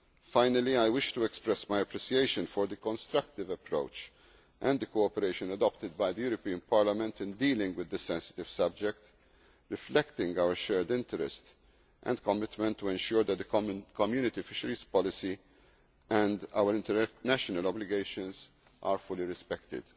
Finally, I wish to express my appreciation for the constructive approach and the cooperation adopted by the European Parliament in dealing with this sensitive subject, reflecting our shared interest and commitment to ensuring that the Community fisheries policy and our international obligations are fully respected.